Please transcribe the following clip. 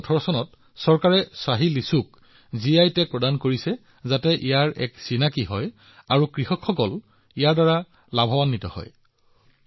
২০১৮ চনত চৰকাৰে ইয়াৰ পৰিচয় শক্তিশালী কৰিবলৈ আৰু কৃষকসকলক অধিক লাভান্বিত কৰিবলৈ শাহী লিচ্চিক এটা জিআই টেগ দিছিল